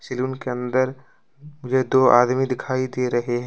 Salon के अंदर मुझे दो आदमी दिखाई दे रहे हैं।